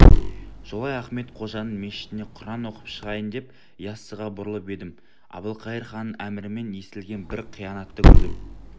жолай ахмет қожаның мешітіне құран оқып шығайын деп яссыға бұрылып едім әбілқайыр ханның әмірімен істелген бір қиянатты көрдім